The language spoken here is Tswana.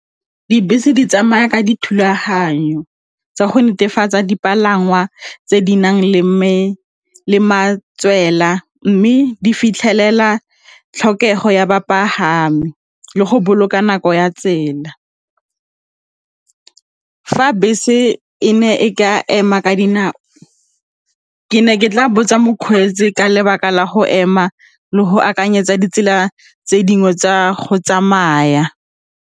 Dibese di tsamaya ka dithulaganyo ka go netefatsa dipalangwa tse di nang le matswela mme di fitlhelela tlhokego ya bapalami le go tsela. Fa bese e ne e ka ema ka dinao, ke ne ke tla botsa mogweetsi ka dinako tse dingwe tsa go tsamaya.